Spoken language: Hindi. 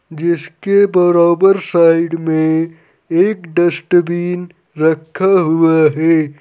जिसके बराबर साइड में एक डस्टबिन रखा हुआ है।